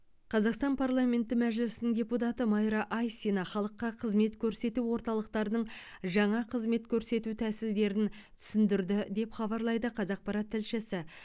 қазақстан парламенті мәжілісінің депутаты майра айсина халыққа қызмет көрсету орталықтарының жаңа қызмет көрсету тәсілдерін түсіндірді деп хабарлайды қазақпарат тілшісі